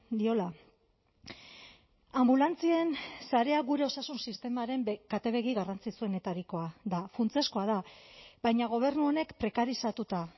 diola anbulantzien sarea gure osasun sistemaren katebegi garrantzitsuenetarikoa da funtsezkoa da baina gobernu honek prekarizatuta